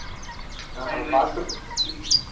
ಹಾ ಹಾ fast food .